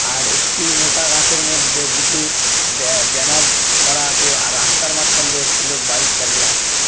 আর একটি মোটা গাছের মধ্যে দুটি ব্য ব্যানার করা আছে আর রাস্তার মাঝখান দিয়ে একটি লোক বাইক চালিযে আসছে ।